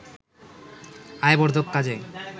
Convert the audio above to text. আয় বর্ধক কাজে